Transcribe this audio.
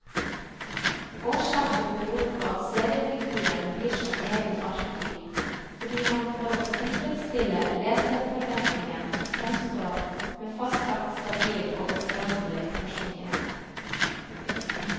Årsaken beror på at seriefiguren blir som egen arketyp, fordi han for å tilfredstille leserforventningen framstår med fastlagt, stabil og uforanderlig personlighet.